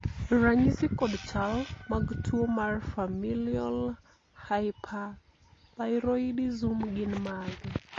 ranyisi kod chal mag tuo mar Familial hyperthyroidism gin mage?